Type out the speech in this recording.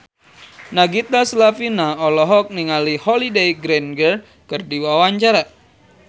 Nagita Slavina olohok ningali Holliday Grainger keur diwawancara